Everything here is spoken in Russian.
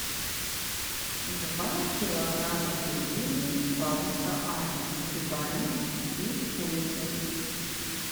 два килограмма пельменей бабушка аня с грибами и курицей